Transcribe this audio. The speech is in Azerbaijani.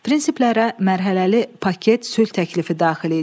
Prinsiplərə mərhələli paket sülh təklifi daxil idi.